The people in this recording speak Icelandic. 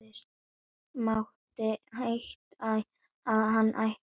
Mátti heita að hann ætti salinn á tímabili.